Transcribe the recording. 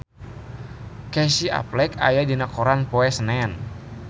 Casey Affleck aya dina koran poe Senen